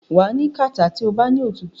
wà á ní kàtá tí o bá ní òtútù.